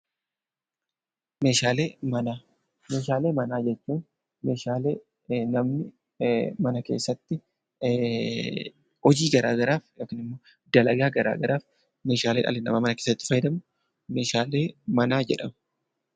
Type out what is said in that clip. Meeshaalee manaa jechuun meeshaalee namni mana keessatti hojii garaagaraaf yookiin dalagaa garaagaraaf mana keessatti fayyadamu meeshaalee manaa jedhamu